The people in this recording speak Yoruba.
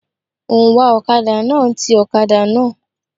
Òǹwà ọ̀kadà náà ń ti ọ̀kadà náà.